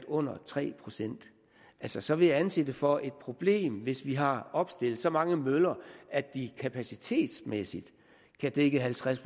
under tre procent altså så vil jeg anse det for et problem hvis vi har opstillet så mange møller at de kapacitetsmæssigt kan dække halvtreds